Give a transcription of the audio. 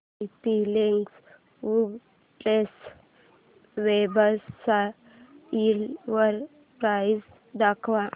TP Link राउटरच्या वेबसाइटवर price दाखव